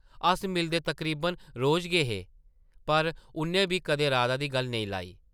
अस मिलदे तकरीबन रोज गै हे पर उʼन्नै बी कदें राधा दी गल्ल नेईं लाई ।